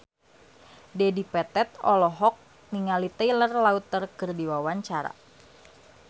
Dedi Petet olohok ningali Taylor Lautner keur diwawancara